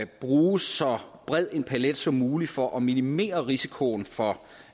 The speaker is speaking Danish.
bruge så bred en palet som muligt for at minimere risikoen for